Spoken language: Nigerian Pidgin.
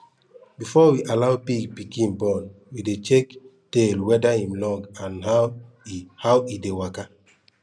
before we allow pig pikin born we dey check tail weda im long and how e how e dey waka